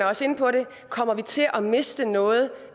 også inde på det kommer vi til at miste noget